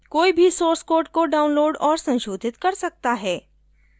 कोई भी source code को download और संशोधित कर सकता है